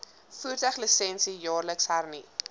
voertuiglisensie jaarliks hernu